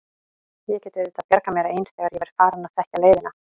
Ég get auðvitað bjargað mér ein þegar ég verð farin að þekkja leiðina.